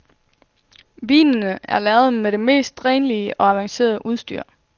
Vinene er lavet med det mest renlige og avancerede udstyr.